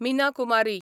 Meena Kumari